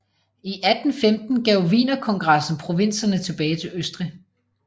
I 1815 gav Wienerkongressen provinserne tilbage til Østrig